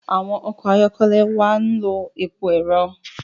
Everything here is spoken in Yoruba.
Awọn ọkọ ayọkẹlẹ wà n ló èpò ẹrọ